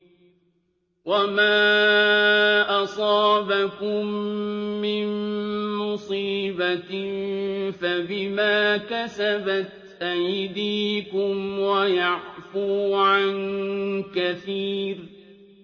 وَمَا أَصَابَكُم مِّن مُّصِيبَةٍ فَبِمَا كَسَبَتْ أَيْدِيكُمْ وَيَعْفُو عَن كَثِيرٍ